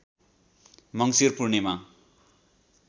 मङ्सिर पूर्णिमा